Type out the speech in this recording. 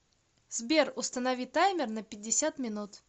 сбер установи таймер на пятьдесят минут